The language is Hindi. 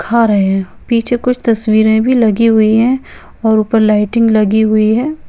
खा रहे हैं पीछे कुछ तस्वीरें भी लगी हुई है और ऊपर लाइटिंग लगी हुई है।